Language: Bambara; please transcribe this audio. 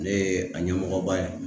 Ne ye a ɲɛmɔgɔba ye.